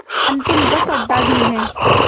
अंतिम बस अड्डा भी है